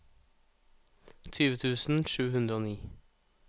tjue tusen sju hundre og ni